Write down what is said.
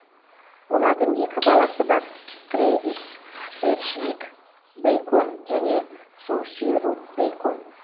олардың екі баласы бар трэвис седжвик бэйкон және соуси рут бэйкон